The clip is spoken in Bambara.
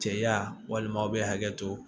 Cɛya walima aw bɛ hakɛ to